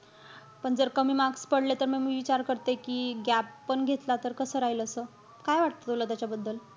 पण जर कमी marks पडले, त म मी विचार करते कि gap पण घेतला त कसं राहील असं? काय वाटत तुला त्याच्याबद्दल?